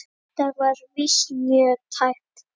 Þetta var víst mjög tæpt.